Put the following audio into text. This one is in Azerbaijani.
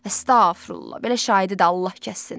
Əstağfurullah, belə şahidi də Allah kəssin.